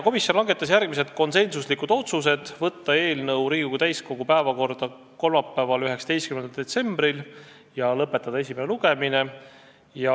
Komisjon langetas järgmised konsensuslikud otsused: saata eelnõu Riigikogu täiskogu päevakorda kolmapäevaks, 19. detsembriks ja lõpetada esimene lugemine.